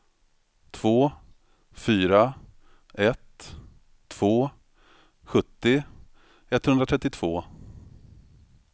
två fyra ett två sjuttio etthundratrettiotvå